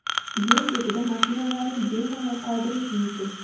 Yo‘l chetida mashinalarni bemalol qoldirish mumkin.